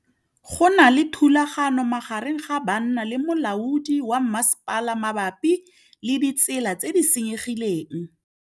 Go na le thulanô magareng ga banna le molaodi wa masepala mabapi le ditsela tse di senyegileng.